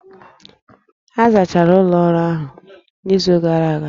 A zachara ụlọ ọrụ ahụ n'izu gara aga?